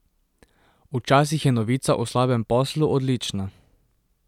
Včasih je novica o slabem poslu odlična.